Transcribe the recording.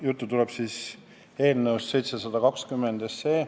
Juttu tuleb eelnõust 720.